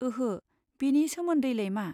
ओहो, बेनि सोमोन्दैलाय मा?